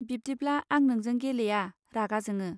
बिब्दिब्ला आं नोंजों गेलेया रागा जोङो.